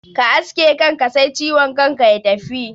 Ka aske kanka sai ciwon kan ya tafi